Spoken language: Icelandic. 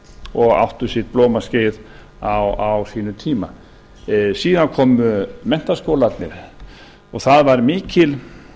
og áttu sitt blómaskeið á sínum tíma síðan komu menntaskólarnir og það var mikil